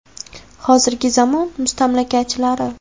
Hozirgi zamon mustamlakachilari.